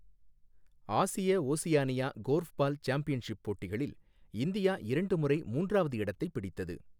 ஆசிய Oceania korfball championship போட்டிகளில் India இரண்டு முறை மூன்றாவது இடத்தைப் பிடித்தது.